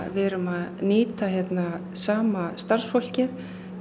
við erum að nýta hérna sama starfsfólkið